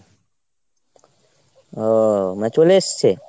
ওহ মানে চলে এসছে ?